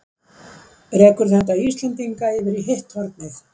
Rekur þetta Íslendinga yfir í hitt hornið?